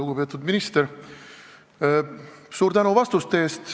Lugupeetud minister, suur tänu vastuste eest!